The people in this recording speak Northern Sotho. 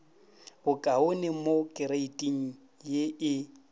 bokaone mo kreiting ye e